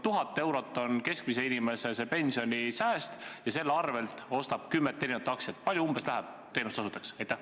Kui 1000 eurot on keskmise inimese pensionisääst ja ta selle eest ostab kümmet liiki aktsiaid, kui palju umbes läheb teenustasudeks?